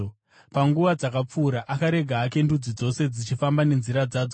Panguva dzakapfuura, akarega hake ndudzi dzose dzichifamba nenzira dzadzo.